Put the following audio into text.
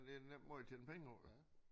Det er en nem måde at tjene penge på